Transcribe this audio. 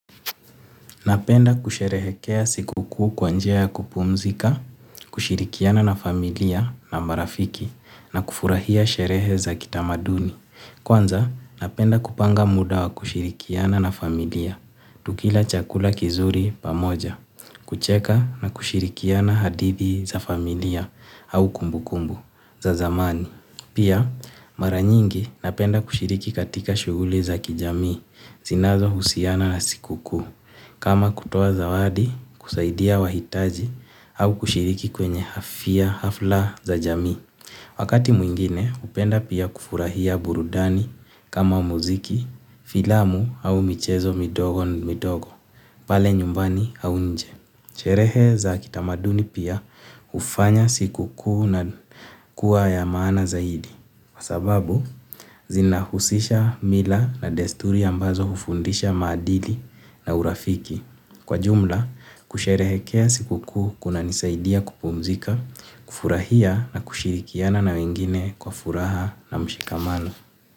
Napenda kusherehekea sikukuu kwa njia ya kupumzika, kushirikiana na familia na marafiki na kufurahia sherehe za kitamaduni. Kwanza, napenda kupanga muda wa kushirikiana na familia, tukila chakula kizuri pamoja, kucheka na kushirikiana hadithi za familia au kumbukumbu za zamani. Pia mara nyingi napenda kushiriki katika shughuli za kijamii zinazohusiana na siku kuu kama kutoa zawadi kusaidia wahitaji au kushiriki kwenye hafla za jamii. Wakati mwingine hupenda pia kufurahia burudani kama muziki filamu au michezo midogo midogo pale nyumbani au nje. Sherehe za kitamaduni pia hufanya siku kuu na kuwa ya maana zaidi. Kwa sababu, zinahusisha mila na desturi ambazo hufundisha maadili na urafiki. Kwa jumla, kusherehekea siku kuu kunanisaidia kupumzika, kufurahia na kushirikiana na wengine kwa furaha na mshikamano.